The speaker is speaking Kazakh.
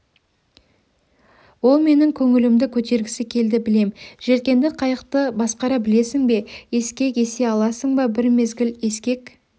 ол менің көңілімді көтергісі келді білем желкенді қайықты басқара білесің бе ескек есе аласың ба бір мезгіл ескек